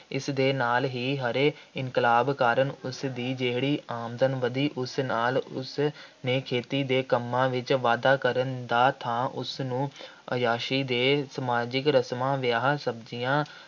ਇਸ ਦੇ ਨਾਲ ਹੀ ਹਰੇ ਇਨਕਲਾਬ ਕਾਰਨ ਉਸਦੀ ਜਿਹੜੀ ਆਮਦਨ ਵਧੀ, ਉਸ ਨਾਲ ਉਸਨੇ ਖੇਤੀ ਦੇ ਕੰਮਾਂ ਵਿੱਚ ਵਾਧਾ ਕਰਨ ਦਾ ਥਾਂ ਉਸਨੂੰ ਆਯਾਸ਼ੀ ਦੇ ਸਮਾਜਿਕ ਰਸਮਾਂ, ਵਿਆਹਾਂ-ਸ਼ਾਦੀਆਂ